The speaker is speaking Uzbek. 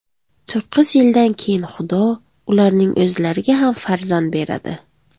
To‘qqiz yildan keyin Xudo ularning o‘zlariga ham farzand beradi.